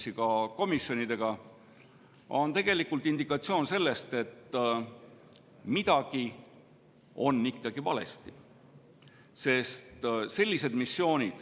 See on tegelikult indikatsioon, et midagi on ikkagi valesti.